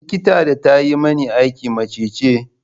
Likitan da ta yi mani aiki mace ce.